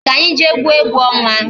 Ka anyị jee gwuo egwu ọnwa